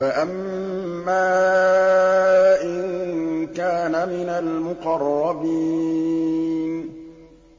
فَأَمَّا إِن كَانَ مِنَ الْمُقَرَّبِينَ